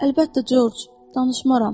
Əlbəttə Corc, danışmaram.